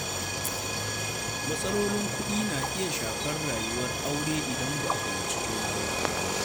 Matsalolin kuɗi na iya shafar rayuwar aure idan ba a fahimci juna ba.